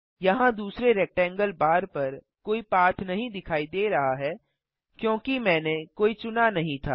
यहाँ दूसरे rectangle bar पर कोई पाथ नहीं दिखाई दे रहा है क्योंकि मैंने कोई चुना नहीं था